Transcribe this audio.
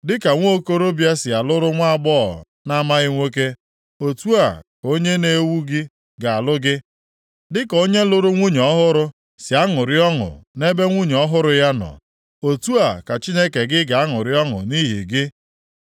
Dịka nwokorobịa si alụrụ nwaagbọghọ na-amaghị nwoke, otu a ka Onye na-ewu gị + 62:5 Ụmụ gị ndị ikom ga-alụ gị, dịka onye lụrụ nwunye ọhụrụ sị aṅụrị ọṅụ nʼebe nwunye ọhụrụ ya nọ, otu a ka Chineke gị ga-aṅụrị ọṅụ nʼihi gị.